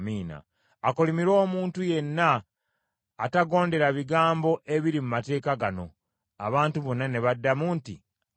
“Akolimirwe omuntu yenna atagondera bigambo ebiri mu mateeka gano.” Abantu bonna ne baddamu nti, “Amiina.”